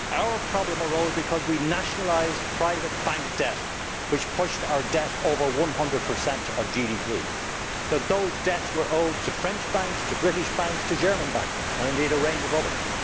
Our problem arose because we nationalised private bank debt, which pushed our debt over 100 of GDP. Those debts were owed to French banks, to British banks, to German banks and indeed to a range of others.